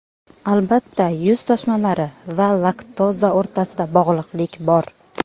Albatta, yuz toshmalari va laktoza o‘rtasida bog‘liqlik bor.